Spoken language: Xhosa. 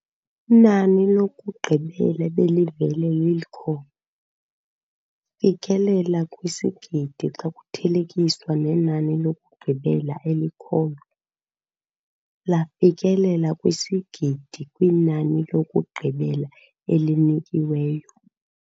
Inani lokugqibela ebelivele lilkho. fikelela kwisigidi xa kuthelekiswa nenani lokugqibela elikhoyo. lafikelela kwisigidi kwinani lokugqibela elinikiweyo.